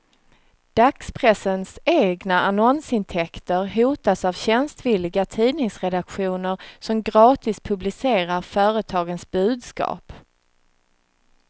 Dagspressens egna annonsintäkter hotas av tjänstvilliga tidningsredaktioner som gratis publicerar företagens budskap.